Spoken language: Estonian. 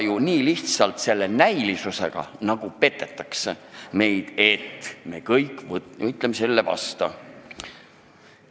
Ja meid selle näilisusega lihtsalt petetakse, me justkui kõik võitleme selle vastu.